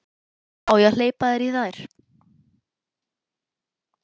Á ég að hleypa þér í þær?